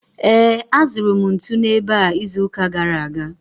Ee, azụrụ m ntu n’ebe a izuụka gara aga.